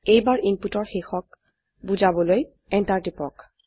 এইবাৰ ইনপুটৰ শেষক বোজাবলৈ এন্টাৰ টিপক